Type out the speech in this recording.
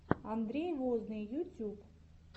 андрей возный ютьюб